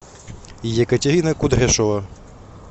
екатерина кудряшова